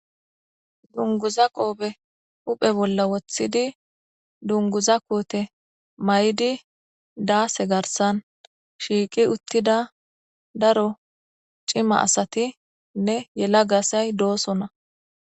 Dunguza qoobe uphe bolla woththidi dunguza koote may'idi daase garsan shiiqi uttida daro cima asatinne yela gasay doosona.